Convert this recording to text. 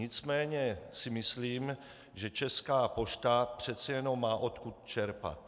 Nicméně si myslím, že Česká pošta přece jenom má odkud čerpat.